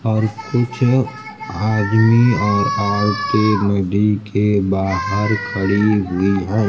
और कुछ आदमी और औरतें नदी के बाहर खड़ी हुई है।